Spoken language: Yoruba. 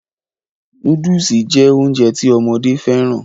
Nóódùsì jẹ́ Ounjẹ ti ọmọdé fẹ́ràn